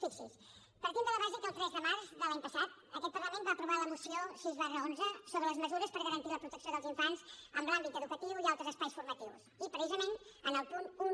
fixi’s partim de la base que el tres de març de l’any passat aquest parlament va aprovar la moció sis xi sobre les mesures per garantir la protecció dels infants en l’àmbit educatiu i altres espais formatius i precisament en el punt un